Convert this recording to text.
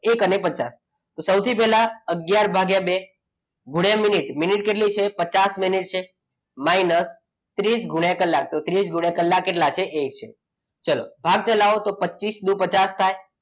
એક અને પચાસ તો સૌથી પહેલા અગિયાર ભાગ્યા બે તો સૌથી પહેલા અગિયાર ભાગ્યા બે ગુણ્યા મિનિટ કેટલી કે પચાસ મિનિટ છે minus ત્રીસ ગુણ્યા કલાક તો ત્રીસ. કલાક કેટલા છે તો કે એક ચલો તો પચીસ દૂ પચાસ થાય.